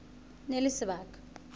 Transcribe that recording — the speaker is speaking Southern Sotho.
e ne e le sebaka